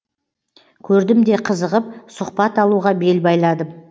көрдім де қызығып сұхбат алуға бел байладым